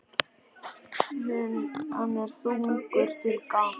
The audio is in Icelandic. Hann er þungur til gangs.